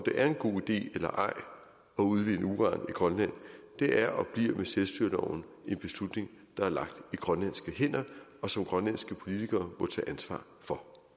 det er en god idé eller ej at udvinde uran i grønland er og bliver med selvstyreloven en beslutning der er lagt i grønlandske hænder og som grønlandske politikere må tage ansvar for